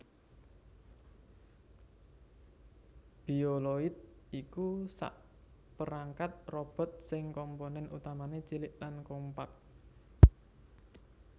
Bioloid iku sakperangkat robot sing komponèn utamané cilik lan kompak